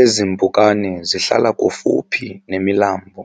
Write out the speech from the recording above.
Ezi mpukane zihlala kufuphi nemilambo,